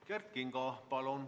Kert Kingo, palun!